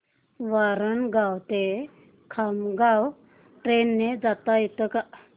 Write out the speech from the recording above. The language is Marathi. वरणगाव ते खामगाव ट्रेन ने जाता येतं का